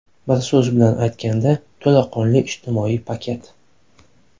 Bir so‘z bilan aytganda to‘laqonli ijtimoiy paket.